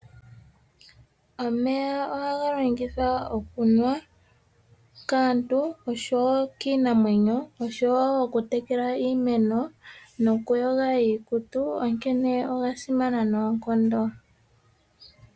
Omeya ohaga longithwa okunwa kaantu osho wo kiinamwenyo, osho wo okutekela iimeno noku yoga iikutu onkene oga simana noonkondo.